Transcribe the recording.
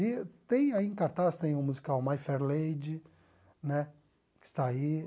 E tem aí em cartaz, tem o musical My Fair Lady, né que está aí.